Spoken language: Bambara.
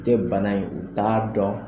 U tɛ bana in u t'a dɔn.